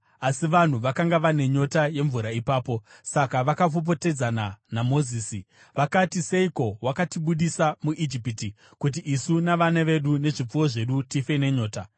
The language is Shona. Asi vanhu vakanga vane nyota yemvura ipapo, saka vakapopotedzana naMozisi. Vakati, “Seiko wakatibudisa muIjipiti kuti isu navana vedu nezvipfuwo zvedu tife nenyota?”